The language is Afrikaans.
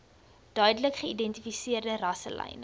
duidelik geïdentifiseerde rasselyne